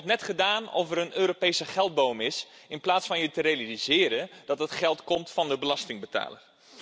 Er wordt net gedaan of er een Europese geldboom is, in plaats van je te realiseren dat het geld komt van de belastingbetaler.